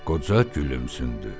Qoca gülümsündü.